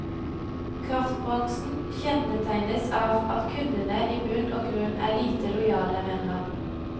Kraftbransjen kjennetegnes av at kundene i bunn og grunn er lite lojale, mener han.